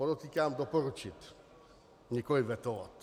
Podotýkám, doporučit, nikoli vetovat.